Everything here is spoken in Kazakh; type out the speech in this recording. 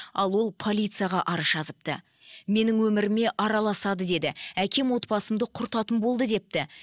ал ол полицияға арыз жазыпты менің өміріме араласады деді әкем отбасымды құртатын болды депті